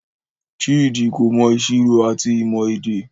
Chidi ko mọ ìṣirò ati ìmọ èdè.